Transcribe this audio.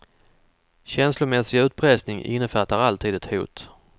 Känslomässig utpressning innefattar alltid ett hot.